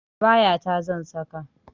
Abaya ta zan saka